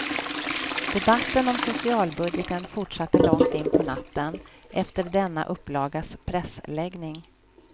Debatten om socialbudgeten fortsatte långt in på natten, efter denna upplagas pressläggning.